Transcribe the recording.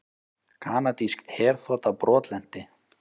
Kanadísk herþota brotlenti